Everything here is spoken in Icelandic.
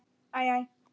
Æ. æ.